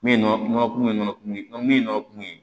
Min nɔ kun bɛ nɔnɔ kun min nɔ kun ye